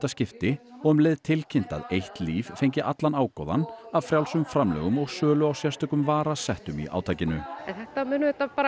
skipti og um leið tilkynnt að eitt líf fengi allan ágóðann af frjálsum framlögum og sölu á sérstökum varasettum í átakinu þetta mun